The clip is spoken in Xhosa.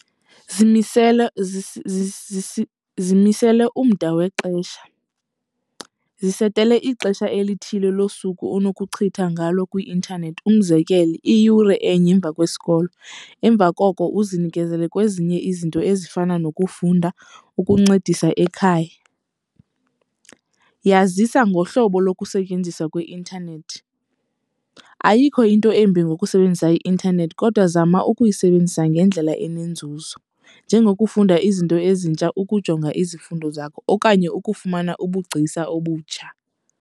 Zimisele zimisele umda wexesha. Zisetele ixesha elithile losuku onokuchitha ngalo kwi-intanethi, umzekelo iyure enye emva kwesikolo. Emva koko uzinikezele kwezinye izinto ezifana nokufunda, ukuncedisa ekhaya. Yazisa ngohlobo lokusetyenziswa kweintanethi. Ayikho into embi ngokusebenzisa i-intanethi kodwa zama ukuyisebenzisa ngendlela enenzuzo njengokufunda izinto ezintsha, ukujonga izifundo zakho okanye ukufumana ubugcisa obutsha.